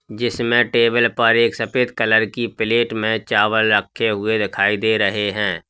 जिसमें टेबल पर एक सफेद कलर की प्लेट में चावल रखे हुए दिखाई दे रहे हैं।